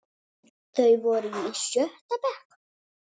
Þeir voru í sjötta bekk.